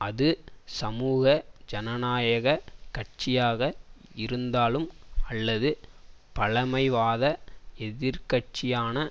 அது சமூக ஜனநாயக கட்சியாக இருந்தாலும் அல்லது பழமைவாத எதிர் கட்சியான